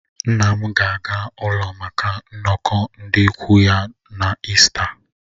Nna m ga-aga ụlọ maka nnọkọ ndị ikwu ya na ịsta